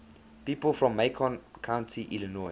people from macon county illinois